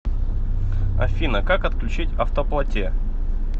афина как отключить автоплате